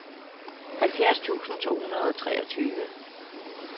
halvfjerds tusind to hundrede og treogtyve